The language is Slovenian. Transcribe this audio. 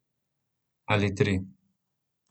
Ali tri.